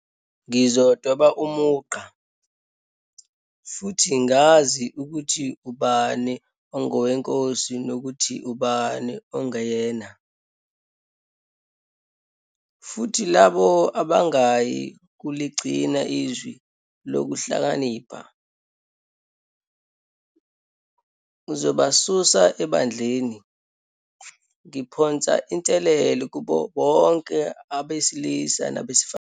Ngizodweba umugqa, futhi ngazi ukuthi ubani ongoweNkosi nokuthi ubani ongeyena, futhi labo abangayi kuligcina iZwi loKuhlakanipha, ngizobasusa eBandleni. Ngiphonsa inselelo kubo bonke abesilisa nabesifazane.